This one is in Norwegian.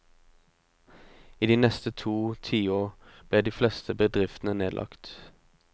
I de neste to tiår ble de fleste bedriftene nedlagt.